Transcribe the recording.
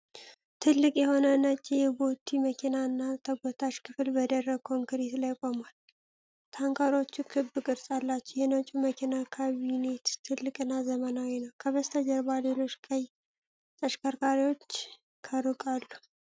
ትልቅ የሆነ ነጭ የቦቲ መኪና እና ተጎታች ክፍል በደረቅ ኮንክሪት ላይ ቆሟል። ታንከሮቹ ክብ ቅርጽ አላቸው፣ የነጩ መኪና ካቢኔት ትልቅና ዘመናዊ ነው። ከበስተጀርባ ሌሎች ቀይ ተሽከርካሪዎች ከሩቅ አሉ።